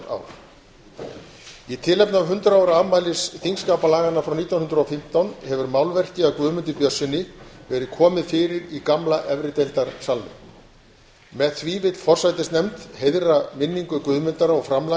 ár í tilefni hundrað ára afmælis þingskapalaganna frá nítján hundruð og fimmtán hefur málverki af guðmundi björnsyni verið komið fyrir í gamla efrideildarsalnum með því vill forsætisnefnd heiðra minningu guðmundar og